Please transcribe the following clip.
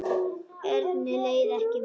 Erni leið ekki vel.